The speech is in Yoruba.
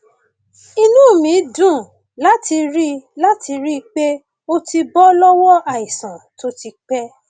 inú mi dùn láti rí láti rí i pé o ti bọ lọwọ àìsàn tó ti pẹ